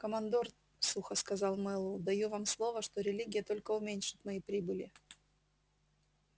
командор сухо сказал мэллоу даю вам слово что религия только уменьшит мои прибыли